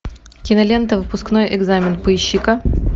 кинолента выпускной экзамен поищи ка